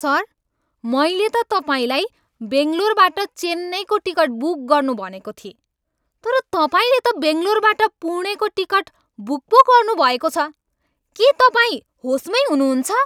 Sir! मैले त तपाईँलाई बङ्गलोरबाट चेन्नईको टिकट बुक गर्नु भनेको थिएँ तर तपाईँले त बङ्गलोरबाट पुणेको टिकट बुक पो गर्नुभएको छ। के तपाईँ होसमैँ हुनुहुन्छ?